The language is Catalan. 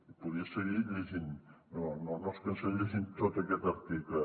i podria seguir llegint però no els cansaré llegint tot aquest article